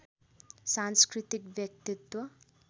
सांस्कृतिक व्यक्तित्व